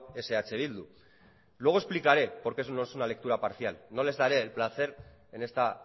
es eh bildu luego explicaré por qué eso no es una lectura parcial no les daré el placer en esta